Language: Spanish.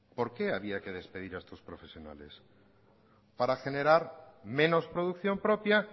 por qué había que despedir a estos profesionales para generar menos producción propia